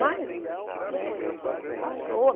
Mas, né, passou.